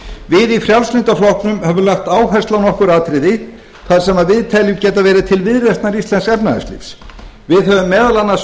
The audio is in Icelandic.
við í frjálslynda flokknum höfum lagt áherslu á nokkur atriði þar sem við teljum geta verið til viðreisnar íslensks efnahagslífs við höfum meðal annars